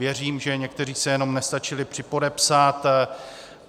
Věřím, že někteří se jenom nestačili připodepsat.